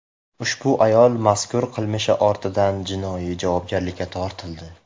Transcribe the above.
Ushbu ayol mazkur qilmishi ortidan jinoiy javobgarlikka tortildi.